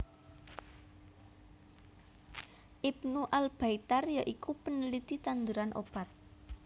Ibnu Al Baitar ya iku peneliti tanduran obat